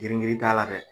Girin girin t'a la dɛ